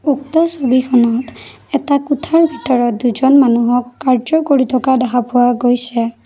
উক্ত ছবিখনত এটা কোঠাৰ ভিতৰত দুজন মানুহক কাৰ্য্য কৰি থকা দেখা পোৱা গৈছে।